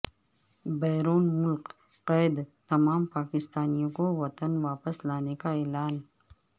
بیرون ملک قید تمام پاکستانیوں کو وطن واپس لانے کا اعلان